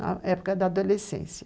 Na época da adolescência.